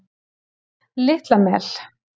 Litla Mel